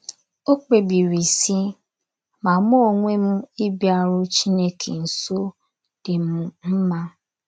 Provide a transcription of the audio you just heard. O kpebiri sị: “ Ma mụ onwe m ịbịaru Chineke nso dị m mma. ”